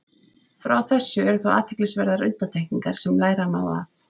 Frá þessu eru þó athyglisverðar undantekningar sem læra má af.